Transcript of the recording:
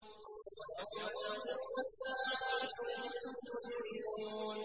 وَيَوْمَ تَقُومُ السَّاعَةُ يُبْلِسُ الْمُجْرِمُونَ